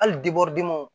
Hali